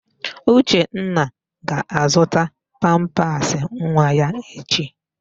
Uchenna ga-azụta pampasị nwa ya echi.